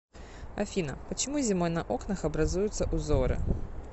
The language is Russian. афина почему зимой на окнах образуются узоры